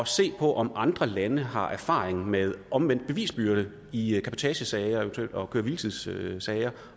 se på om andre lande har erfaring med omvendt bevisbyrde i cabotagesager og køre hvile tids sager